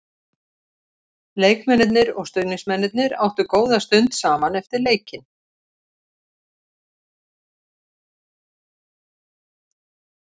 Leikmennirnir og stuðningsmennirnir áttu góða stund saman eftir leikinn.